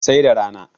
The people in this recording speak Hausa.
sai da rana